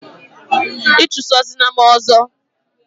ichusozina m ọzọ!